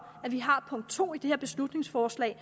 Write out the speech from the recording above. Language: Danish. at vi har punkt to i det beslutningsforslag